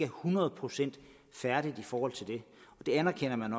hundrede procent færdigt i forhold til det og det anerkender man